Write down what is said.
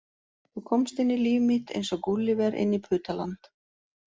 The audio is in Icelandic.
Þú komst inn í líf mitt eins og Gúlíver inn í Putaland